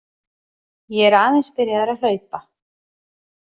Ég er aðeins byrjaður að hlaupa.